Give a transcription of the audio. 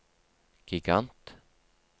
gigant